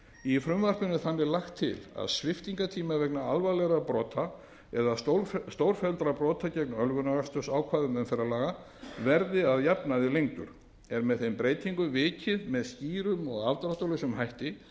í frumvarpinu er þannig lagt til að sviptingartími vegna alvarlegra eða stórfelldra brota gegn ölvunarakstursákvæðum umferðarlaga verði að jafnaði lengdur er með þeim breytingum vikið með skýrum og afdráttarlausum hætti